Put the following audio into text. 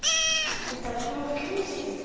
út af smá slysi!